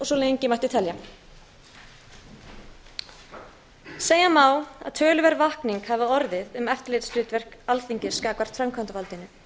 svo mætti lengi telja segja má að töluverð vakning hafi orðið um eftirlitshlutverk alþingis gagnvart framkvæmdarvaldinu